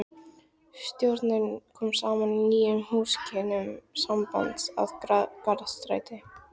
Stjórnin kom saman í nýjum húsakynnum sambandsins að Garðastræti